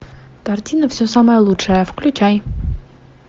картина все самое лучшее включай